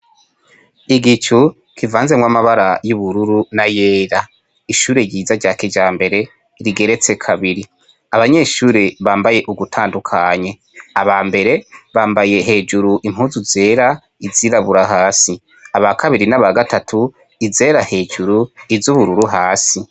Igicu kivanzemwo amabara y'ubururu na yera ishure ryiza rya kija mbere rigeretse kabiri abanyeshure bambaye ugutandukanye aba mbere bambaye hejuru impuzu zera izirabura hasi aba kabiri n'aba gatatu izera hejuru izo ubururu hasi.